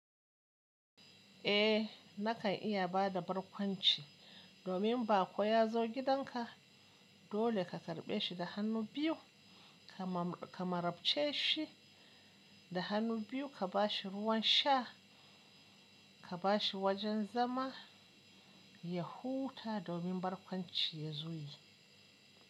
Eh, nakan iya ba da barkwanci domin ba ko ya zo gidanka. Dole ka karɓe shi da hannu biyu, ka marabce shi da hannu biyu, ka ba shi ruwan sha, ka ba shi wajen zama, ya huta domin barkwanci ya zo yi.